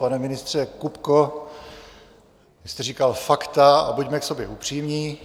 Pane ministře Kupko, vy jste říkal fakta a buďme k sobě upřímní.